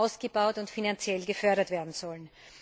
ausgebaut und finanziell gefördert werden sollen.